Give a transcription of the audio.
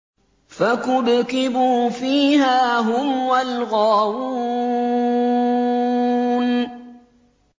فَكُبْكِبُوا فِيهَا هُمْ وَالْغَاوُونَ